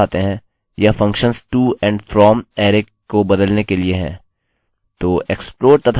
लेकिन वापस आते हैं यह functions to and from and from array को बदलने के लिए हैं